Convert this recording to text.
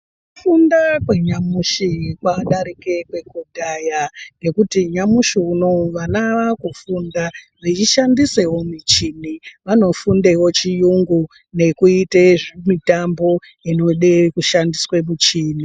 Kufunda kwanyamushi kwadarike nekufunda kwekudhaya ngekuti nyamashi unou vana vakufunda veishandisa michini vanofundewo chiyungu nekuitawo mitambo inoda kushandiswa michini.